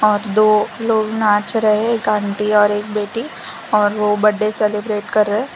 और दो लोग नाच रहे एक आंटी और एक बेटी और वो बड्डे सेलिब्रेट कर रहे --